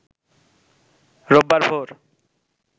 রোববার ভোর